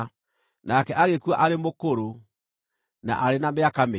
Nake agĩkua arĩ mũkũrũ, na arĩ na mĩaka mĩingĩ.